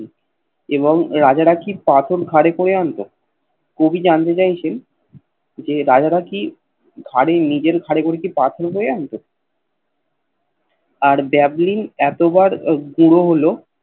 এবং রাজারা কি পাথর ঘাড়ে করে আনত কবি জানতে চাইছেন যে রাজারা কি ঘাড়ে নিজের ঘাড়ে করে কি পাথর বয়ে আনত আর Bablin এতবার গুড়ো হল